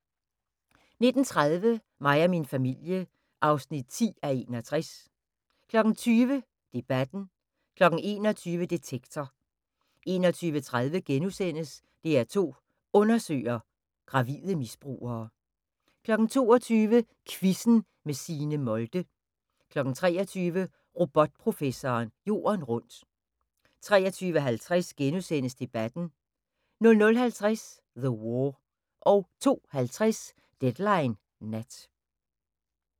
19:30: Mig og min familie (10:61) 20:00: Debatten 21:00: Detektor 21:30: DR2 Undersøger: Gravide misbrugere * 22:00: Quizzen med Signe Molde 23:00: Robotprofessoren Jorden rundt 23:50: Debatten * 00:50: The War 02:50: Deadline Nat